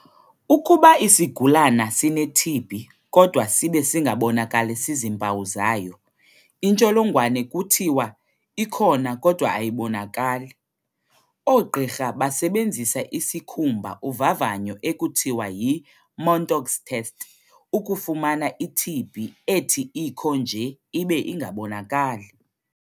Ukuba isigulana sineTB kodwa sibe singabonakalisi zimpawu zayo, intsholongwane kuthiwa 'ikhona kodwa ayibonakali'. Oogqirha basebenzisa isikhumba uvavanyo ekuthiwa yi-Mantoux test, ukufumana iTB ethi ikho nje ibe ingabonakali.